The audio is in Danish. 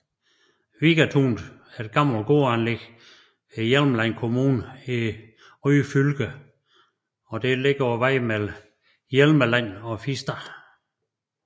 Vigatunet er et gammelt gårdanlæg i Hjelmeland kommune i Ryfylke og ligger på vejen mellem Hjelmeland og Fister